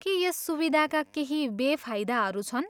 के यस सुविधाका केही बेफाइदाहरू छन्?